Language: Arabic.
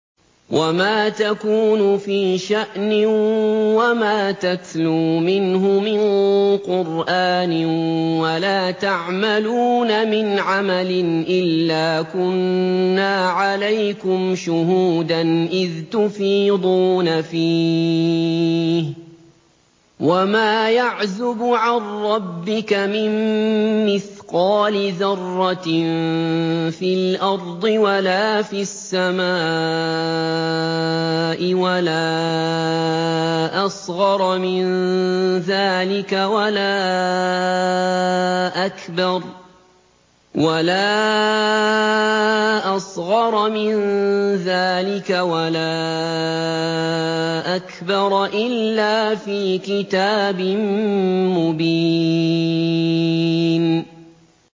وَمَا تَكُونُ فِي شَأْنٍ وَمَا تَتْلُو مِنْهُ مِن قُرْآنٍ وَلَا تَعْمَلُونَ مِنْ عَمَلٍ إِلَّا كُنَّا عَلَيْكُمْ شُهُودًا إِذْ تُفِيضُونَ فِيهِ ۚ وَمَا يَعْزُبُ عَن رَّبِّكَ مِن مِّثْقَالِ ذَرَّةٍ فِي الْأَرْضِ وَلَا فِي السَّمَاءِ وَلَا أَصْغَرَ مِن ذَٰلِكَ وَلَا أَكْبَرَ إِلَّا فِي كِتَابٍ مُّبِينٍ